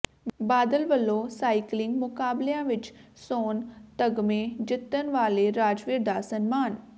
ਬਾਦਲ ਵੱਲੋਂ ਸਾਈਕਲਿੰਗ ਮੁਕਾਬਲਿਆਂ ਵਿੱਚ ਸੋਨ ਤਗ਼ਮੇ ਜਿੱਤਣ ਵਾਲੇ ਰਾਜਵੀਰ ਦਾ ਸਨਮਾਨ